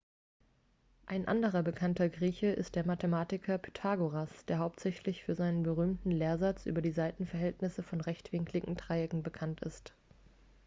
ein anderer bekannter grieche ist der mathematiker pythagoras der hauptsächlich für seinen berühmten lehrsatz über die seitenverhältnisse von rechtwinkligen dreiecken bekannt ist